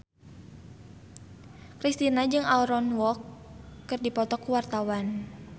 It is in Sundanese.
Kristina jeung Aaron Kwok keur dipoto ku wartawan